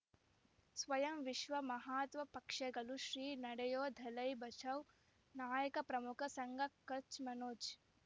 ಸ್ವಯಂ ವಿಶ್ವ ಮಹಾತ್ಮ ಪಕ್ಷಗಳು ಶ್ರೀ ನಡೆಯೂ ದಲೈ ಬಚೌ ನಾಯಕ ಪ್ರಮುಖ ಸಂಘ ಕಚ್ ಮನೋಜ್